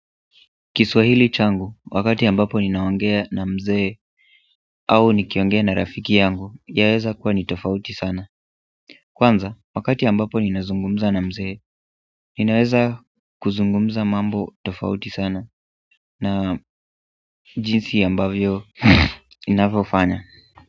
Kiswahili changu wakati ambapo ninaongea na mzee au nikiongea na rafiki yangu yaweza kuwa ni tofauti san kwanza wakati ambapo ninazungumza na mzee naeza kuzungumza mambo tofauti sana na jinsi ambavyo ninavyofanya.